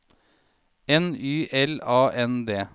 N Y L A N D